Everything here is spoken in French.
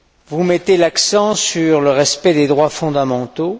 Vous mettez l'accent sur le respect des droits fondamentaux.